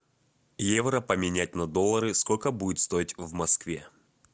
евро поменять на доллары сколько будет стоить в москве